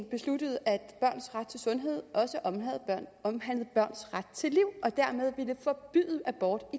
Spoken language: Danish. besluttede at børns ret til sundhed også omhandlede børns ret til liv og dermed ville forbyde abort i